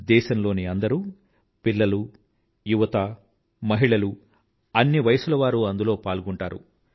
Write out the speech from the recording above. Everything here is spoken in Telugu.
దేశంలోని అందరూ పిల్లలు యువత మహిళలు అన్ని వయస్కుల వారూ అందులో పాల్గొంటారు